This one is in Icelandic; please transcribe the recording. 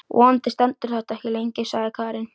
Vonandi stendur þetta ekki lengi, sagði Karen.